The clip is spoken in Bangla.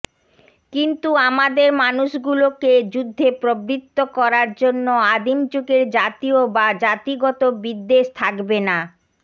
কিন্তু আমাদের মানুষগুলোকে যুদ্ধে প্রবৃত্ত করার জন্য আদিম যুগের জাতীয় বা জাতিগত বিদ্বেষ থাকবে না